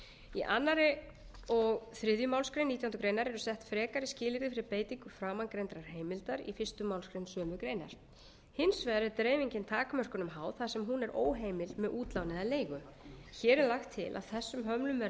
í öðru og þriðju málsgrein nítjánda grein eru sett frekari skilyrði fyrir beitingu framangreindrar heimildar í fyrstu málsgrein sömu greinar hins vegar er dreifingin takmörkunum háð þar sem hún er óheimil með útlán eða leigu hér er lagt til að þessum hömlum verði